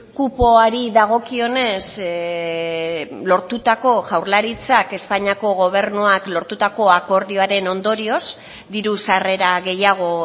kupoari dagokionez lortutako jaurlaritzak espainiako gobernuak lortutako akordioaren ondorioz diru sarrera gehiago